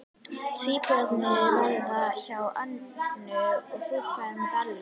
Tvíburarnir verða hjá Önnu og þú ferð til Bellu.